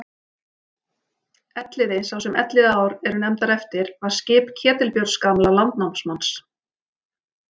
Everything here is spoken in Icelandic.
Elliði sá sem Elliðaár eru nefndar eftir var skip Ketilbjörns gamla landnámsmanns.